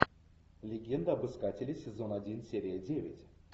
легенда об искателе сезон один серия девять